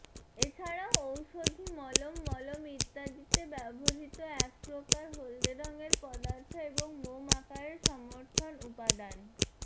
এছাড়াও ঔষধি মলম মলম ইত্যাদিতে ব্যবহৃত একপ্রকার হলদে রঙের পদার্থ এবং মোম আকারে সমর্থন উপাদান